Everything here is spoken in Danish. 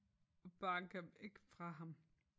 Og bakker væk fra ham